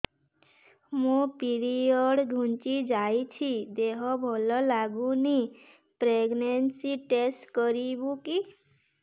ମୋ ପିରିଅଡ଼ ଘୁଞ୍ଚି ଯାଇଛି ଦେହ ଭଲ ଲାଗୁନି ପ୍ରେଗ୍ନନ୍ସି ଟେଷ୍ଟ କରିବୁ କି